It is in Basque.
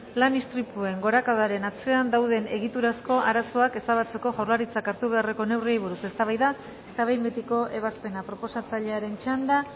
lan istripuen gorakadaren atzean dauden egiturazko arazoak ezabatzeko jaurlaritzak hartu beharreko neurriei buruz eztabaida eta behin betiko ebazpena proposatzailearen txanda